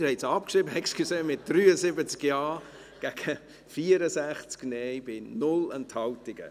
Doch, Sie haben sie abgeschrieben – entschuldigen Sie –, mit 73 Ja- gegen 64 Nein-Stimmen bei 0 Enthaltungen.